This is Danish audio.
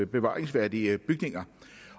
bevaringsværdige bygninger